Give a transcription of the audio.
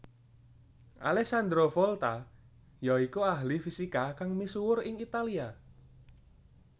Alessandro Volta ya iku ahli fisika kang misuwur ing Italia